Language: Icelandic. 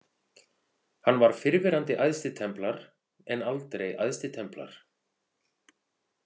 Hann var fyrrverandi æðstitemplar en aldrei æðstitemplar.